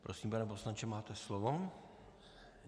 Prosím, pane poslanče, máte slovo.